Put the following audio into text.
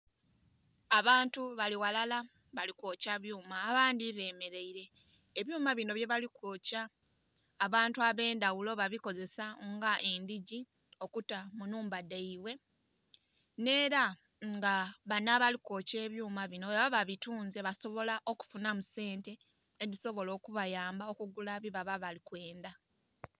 Abantu bali ghalala bali kwokya byuma, abandhi bemeleile. Ebyuma bino byebali kwokya abantu ab'endhagulo babikozesa nga edhigi okuta mu nnhumba dhaibwe. Neela nga bano abali kwokya ebyuma bino bwebaba babitunze basobola okufunamu sente edhisobola okubayamba okugula byebaba bali kwendha.